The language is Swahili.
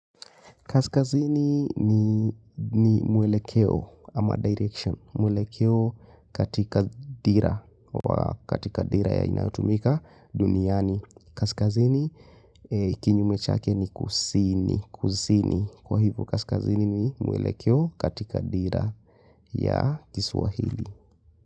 Kaskazini ni mwelekeo ama direction. Mwelekeo katika dira wa katika dira inayotumika duniani. Kaskazini kinyume chake ni kusini, kusini. Kwa hivyo kaskazini ni mwelekeo katika dira ya kiswahili.